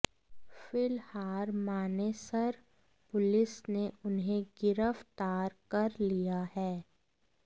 फिलहार Manesar police ने उन्हें गिरफ्तार कर लिया है